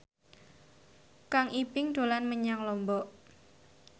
Kang Ibing dolan menyang Lombok